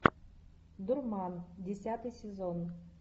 дурман десятый сезон